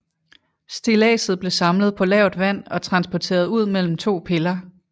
Stilladset blev samlet på lavt vand og transporteret ud mellem to piller